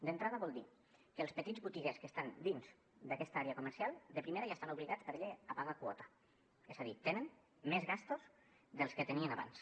d’entrada vol dir que els petits botiguers que estan dins d’aquesta àrea comercial de primera ja estan obligats per llei a pagar quota és a dir tenen més despeses de les que tenien abans